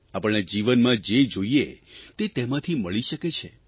આપણને જીવનમાં જે જોઇએ તે તેમાંથી મળી શકે છે